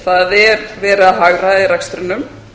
það er verið að hagræða í rekstrinum